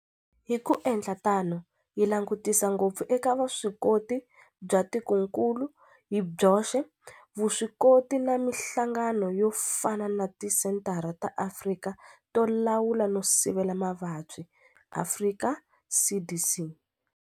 Hi ku endla tano hi langutisa ngopfu eka vuswikoti bya tikokulu hi byoxe, vuswikoti na mihlangano yo fana na Tisenthara ta Afrika to Lawula no Sivela Mavabyi, Afrika CDC.